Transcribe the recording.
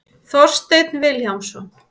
Þorsteinn Vilhjálmsson.